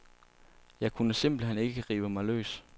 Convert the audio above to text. Jeg kunne simpelt hen ikke rive mig løs.